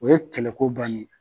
O ye kɛlɛ ko bannen